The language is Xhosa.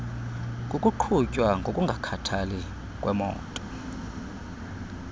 kukuqhutywa ngokungakhathali kwemoto